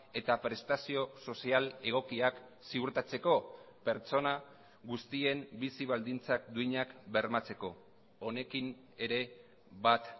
eta prestazio sozial egokiak ziurtatzeko pertsona guztien bizi baldintzak duinak bermatzeko honekin ere bat